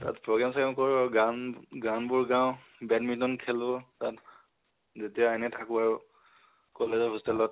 তাত program স্ৰগ্ৰাম কৰো আৰু, গান, গানবোৰ গাও। badminton খেলো তাত যেতিয়া এনে থাকো আৰু college ৰ hostel ত